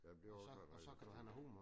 Ja men det ville også være dejligt det